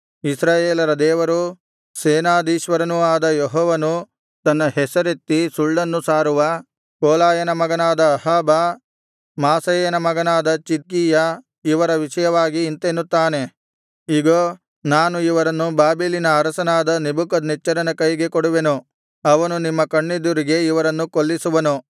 ಇಸ್ರಾಯೇಲರ ದೇವರೂ ಸೇನಾಧೀಶ್ವರನೂ ಆದ ಯೆಹೋವನು ತನ್ನ ಹೆಸರೆತ್ತಿ ಸುಳ್ಳನ್ನು ಸಾರುವ ಕೊಲಾಯನ ಮಗನಾದ ಅಹಾಬ ಮಾಸೇಯನ ಮಗನಾದ ಚಿದ್ಕೀಯ ಇವರ ವಿಷಯವಾಗಿ ಇಂತೆನ್ನುತ್ತಾನೆ ಇಗೋ ನಾನು ಇವರನ್ನು ಬಾಬೆಲಿನ ಅರಸನಾದ ನೆಬೂಕದ್ನೆಚ್ಚರನ ಕೈಗೆ ಕೊಡುವೆನು ಅವನು ನಿಮ್ಮ ಕಣ್ಣೆದುರಿಗೆ ಇವರನ್ನು ಕೊಲ್ಲಿಸುವನು